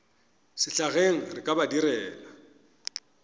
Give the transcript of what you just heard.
sehlageng re ka ba direla